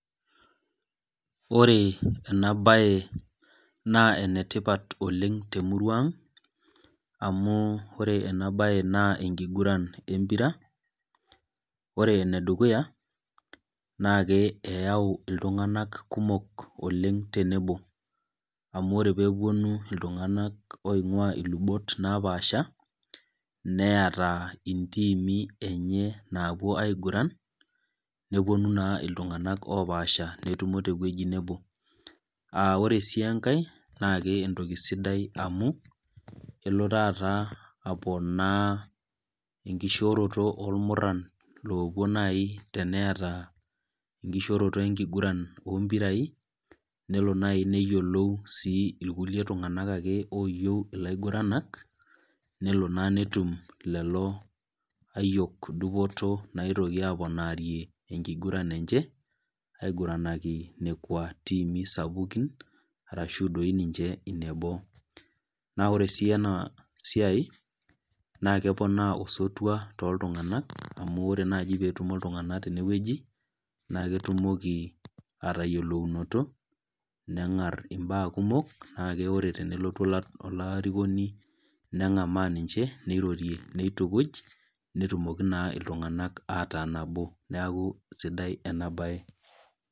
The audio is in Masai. Ore enabae naa enetipat oleng temurua ang, amu ore enabae naa enkiguran empira. Ore enedukuya, na ke eyau iltung'anak kumok oleng tenebo. Amu ore peponu iltung'anak oing'ua ilubot napaasha, neeta intiimi enye naapuo aiguran, neponu naa iltung'anak opaasha netumo tewueji nebo. Ah ore si enkae, naa kentoki sudai amu, elo taata aponaa enkishooroto olmurran lopuo nai teneeta enkishooroto enkiguran ompirai, nelo nai neyiolou si iltung'anak ake oyieu ilaiguranak, nelo naa netum lelo ayiok dupoto naitoki aponarie enkiguran enche, aiguranaki nekwa tiimi sapukin, arashu toi ninye ineboo. Na ore si enasiai, na keponaa osotua toltung'anak amu ore naji petumo iltung'anak tenewueji, naa ketumoki atayiolounoto, neng'ari imbaa kumok, na ake ore tenelotu olarikoni neng'amaa ninche, nirorie nitukuj, netumoki naa iltung'anak ataa nabo. Neeku sidai enabae.